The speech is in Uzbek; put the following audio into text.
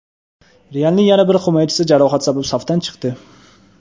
"Real"ning yana bir himoyachisi jarohat sabab safdan chiqdi.